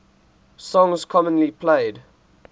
songs commonly played